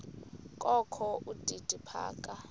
kokho udidi phaka